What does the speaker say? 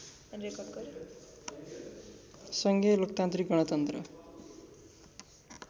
सङ्घीय लोकतन्त्रिक गणतन्त्र